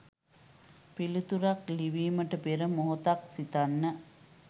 පිළිතුරක් ලිවීමට පෙර මොහොතක් සිතන්න.